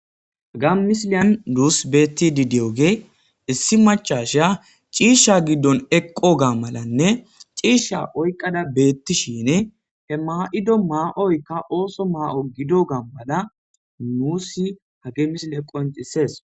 Ha misilyan nus betti di diyoge issi machasha ciishsha giddon eqqo gammalanne ciishsha oyqada beettishine he maa7ido maa7oykka ooso maa7o gido gammada nuusi hagemisil eqqo incisees